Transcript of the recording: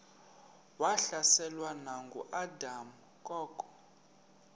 wahlaselwa nanguadam kok